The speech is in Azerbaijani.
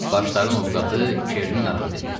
Başların ovqatı Kerini narahat eləyirdi.